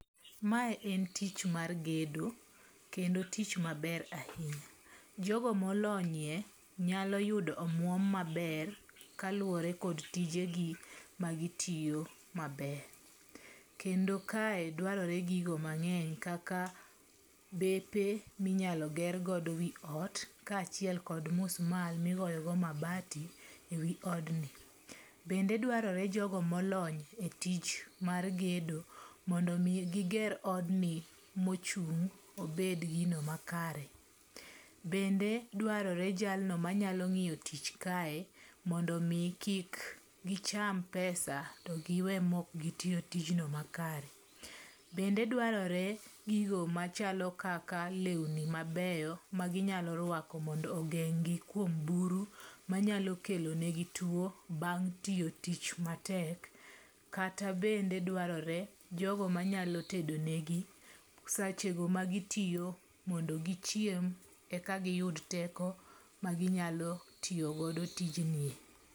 Mae en tich mar gedo, kendo tich maber ahinya jogo molonyie nyalo yudo omuom maber kaluore kod tijegi magitiyo maber, kendo kae dwarore gigo mangeny kaka bepe minyalo gergodo wi ot kachiel kod musmal migoyogo mabati e wi odni, bende dwarore jogo molony e tich mar gedo mondo mi gi ger odni mochung' obed gino makare, bende dwarore jalno manyalo ngi'yo tich kae mondo omi kik gicham pesa to gi we ma ok gitiyo tijno makare, bende dwarore gigo machalo kaka lewni mabeyo maginyalo rwako mondo ogeng'gi kuom buru manyalo kelonegi two bang' tiyo tich matek, kata bende dwarore jogo manyalo tedonegi sechego magitiyo mondo gichiem eka giyud teko maginyalo tiyo godo tijni.